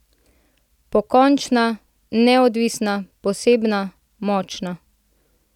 Pokončna, neodvisna, posebna, močna.